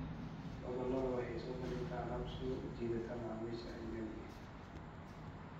Lo'da lo'da waxay soo bandhigtaa alaab soo jiidata macaamiisha ajnabiga ah.